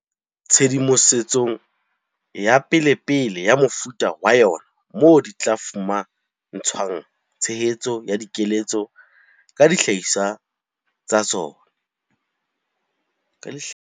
Tshedimo setsong ya pelepele ya mofuta wa yona moo di tla fuma ntshwang tshehetso ya dikeletso ka dihlahiswa tsa tsona.